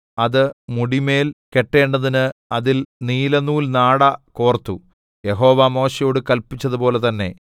അത് മുടിമേൽ കെട്ടേണ്ടതിന് അതിൽ നീലനൂൽനാട കോർത്തു യഹോവ മോശെയോട് കല്പിച്ചതുപോലെ തന്നെ